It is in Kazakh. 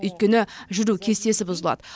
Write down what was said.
өйткені жүру кестесі бұзылады